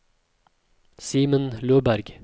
Simen Løberg